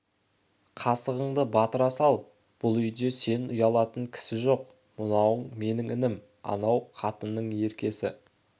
қасығыңды батыра сал бұл үйде сен ұялатын кісі жоқ мынау менің інім ана қатынның еркесі